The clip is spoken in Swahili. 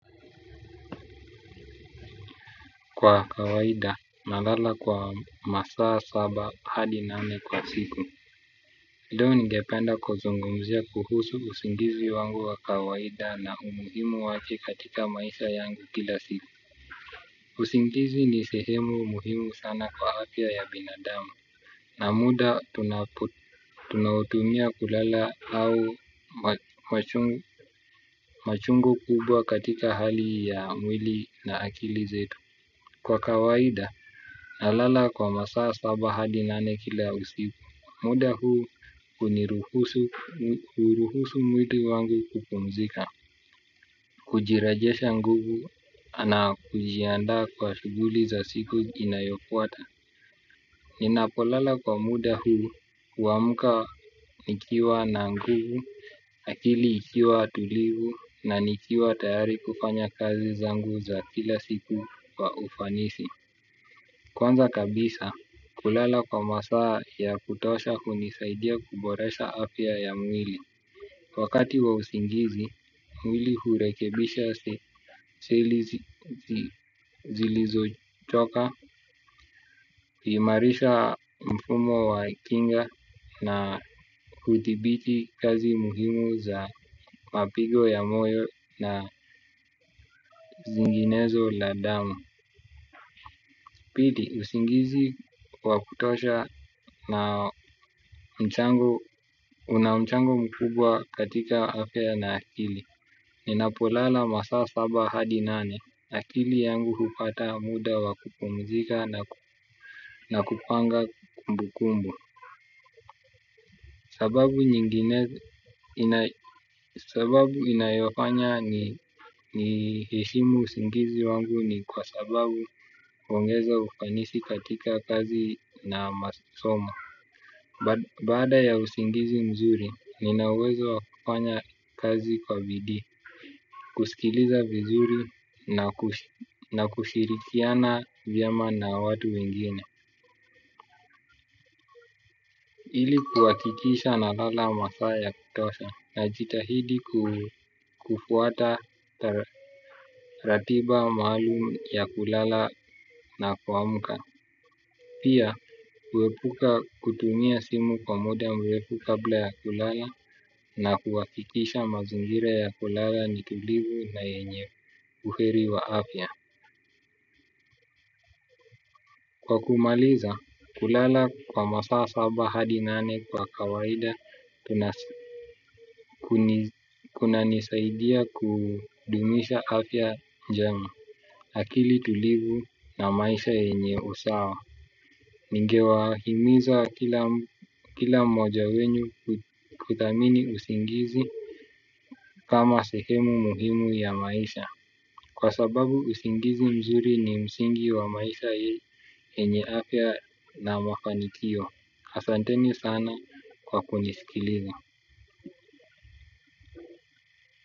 Kwa kawaida na lala kwa masaa saba hadi nane kwa siku ndio ningependa kuzungumzia kuhusu usingizi wangu wa kawaida na umuhimu wake katika maisha yangu kila siku. Usingizi ni sehemu muhimu sana kwa afya ya binadamu. Na muda tunautumia kulala au machungu kubwa katika hali ya mwili na akili zetu kwa kawaida na lala kwa masaa saba hadi nane kila usiku. Muda huu huniruhusu mwili wangu kupumzika kujirejesha nguvu na kujiandaa kwa shughuli za siku inayofuata. Ninapo lala kwa muda huu huamka nikiwa na nguvu akili ikiwa tulivu na nikiwa tayari kufanya kazi zangu za kila siku wa ufanisi kwanza kabisa kulala kwa masaa ya kutosha hunisaidia kuboresha afya ya mwili. Wakati wa usingizi, mwili hurekebisha seli zilizo choka, huimarisha mfumo wa kinga na hudhibiti kazi muhimu za mapigo ya moyo na zinginezo la damu. Pili, usingizi wa kutosha na una mchango mkubwa katika afya na akili. Ninapolala masaa saba hadi nane, akili yangu hupata muda wakupumzika na kupanga kumbukumbu. Sababu inayofanya ni heshimu usingizi wangu ni kwa sababu huongeza ufanisi katika kazi na masomo. Baada ya usingizi mzuri, nina uwezo wa kufanya kazi kwa bidii, kusikiliza vizuri na kushirikiana vyema na watu wengine. Ili kuhakikisha na lala masaa ya kutosha najitahidi kufuata ratiba maalum ya kulala na kuamka. Pia, kuepuka kutumia simu kwa muda mrefu kabla ya kulala na kuhakikisha mazingira ya kulala ni tulivu na yenye uheri wa afya. Kwa kumaliza, kulala kwa masaa saba hadi nane kwa kawaida, kunanisaidia kudumisha afya jamu. Akili tulivu na maisha yenye usawa. Ninge wahimiza kila mmoja wenyu kuthamini usingizi kama sehemu muhimu ya maisha. Kwa sababu usingizi mzuri ni msingi wa maisha yenye afya na mafanikio. Asante ni sana kwa kunisikiliza.